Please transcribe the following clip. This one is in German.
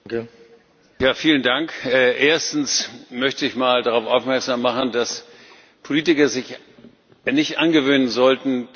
Erstens möchte ich mal darauf aufmerksam machen, dass Politiker sich nicht angewöhnen sollten, das Geschäft mit der Angst zu betreiben.